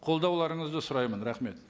қолдауларыңызды сұраймын рахмет